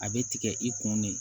A bɛ tigɛ i kun ne